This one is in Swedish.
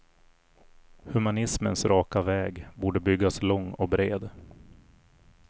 Humanismens raka väg, borde byggas lång och bred.